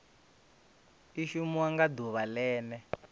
i shumiwa nga ḓuvha ḽene